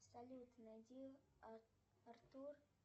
салют найди артур